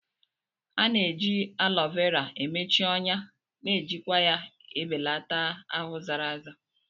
A na-eji Alo Vera emechi ọnya na ejikwa ya ebelata ahụ zara aza.